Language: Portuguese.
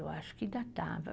Eu acho que ainda estava.